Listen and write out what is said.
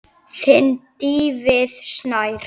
Þinn, Davíð Snær.